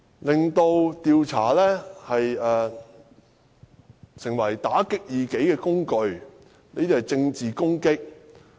令調查成為打擊異己的工具，這些是政治攻擊......